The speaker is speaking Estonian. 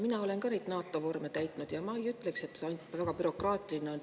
Mina olen ka neid NATO vorme täitnud ja ma ei ütleks, et see väga bürokraatlik on.